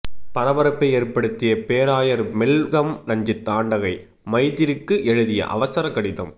பரபரப்பை ஏற்படுத்திய பேராயர் மெல்கம் ரஞ்சித் ஆண்டகை மைத்திரிக்கு எழுதிய அவசர கடிதம்